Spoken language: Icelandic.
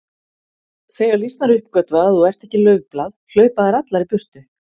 Þegar lýsnar uppgötva að þú ert ekki laufblað hlaupa þær allar í burtu